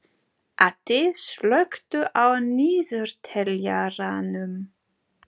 Addi, slökktu á niðurteljaranum.